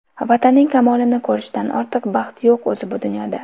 Vatanining kamolini ko‘rishdan ortiq baxt yo‘q o‘zi bu dunyoda.